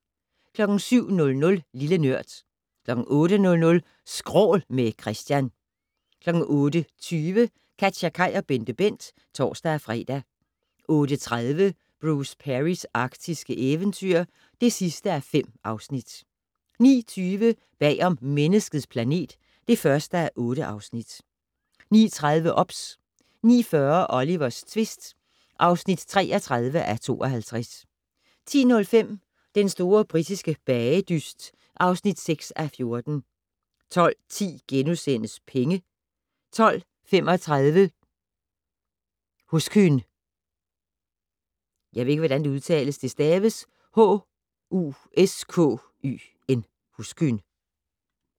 07:00: Lille Nørd 08:00: Skrål - med Christian 08:20: KatjaKaj og BenteBent (tor-fre) 08:30: Bruce Perrys arktiske eventyr (5:5) 09:20: Bag om Menneskets planet (1:8) 09:30: OBS 09:40: Olivers tvist (33:52) 10:05: Den store britiske bagedyst (6:14) 12:10: Penge * 12:35: Huskyn